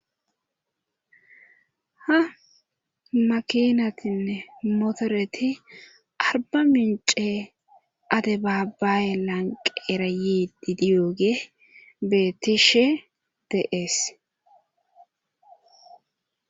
ha makinatinne motoreti arba mince adebabaaye lanqera yiidi diyoogey beettishe de'ees